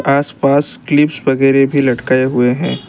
आसपास क्लिप्स वगैरा भी लटकाए हुए हैं।